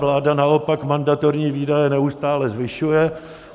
Vláda naopak mandatorní výdaje neustále zvyšuje.